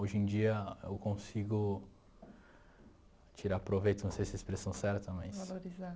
Hoje em dia eu consigo tirar proveito, não sei se é a expressão é certa, mas... Valorizar.